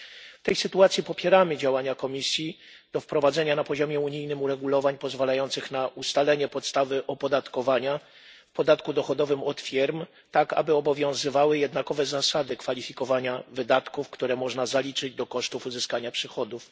W tej sytuacji popieramy działania Komisji zmierzające do wprowadzenia na poziomie unijnym uregulowań pozwalających na ustalenie podstawy opodatkowania w podatku dochodowym od firm, tak aby obowiązywały jednakowe zasady kwalifikowania wydatków, które można zaliczyć do kosztów uzyskania przychodów.